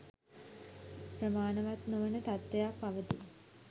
ප්‍රමාණවත් නොවන තත්ත්වයක් පවතී